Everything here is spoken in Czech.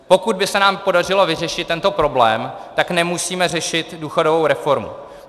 Pokud by se nám podařilo vyřešit tento problém, tak nemusíme řešit důchodovou reformu.